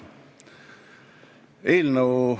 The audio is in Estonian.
Kolleegid!